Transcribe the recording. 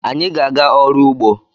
Anyị ga-aga ọrụ ugbo